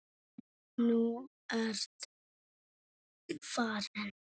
En nú ertu farin.